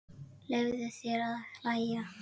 Leyfðu þér að hlæja.